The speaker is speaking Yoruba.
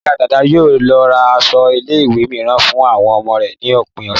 Ìyá Dàda yóò lọ ra aṣọ ilé ìwé mìíràn fún àwọn ọmọ rẹ̀ ní òpin ọ̀sẹ̀